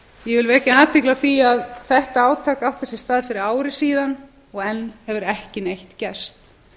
ég vil vekja athygli á því að þetta átak átti sér stað fyrir ári síðan og enn hefur ekki neitt gerst